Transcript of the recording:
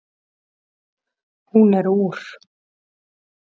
Hún er úr